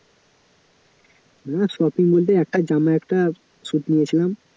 না shopping বলতে একটা জামা একটা suite নিয়েছিলাম